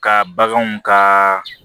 Ka baganw ka